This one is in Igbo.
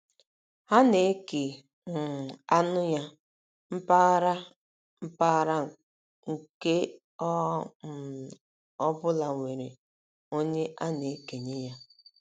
Ha na - eke um anụ ya, mpaghara, mpaghara nke ọ um bụla nwere onye a na - ekenye ya.